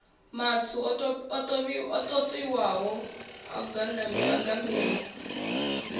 matswu o totiwaho a gamiwa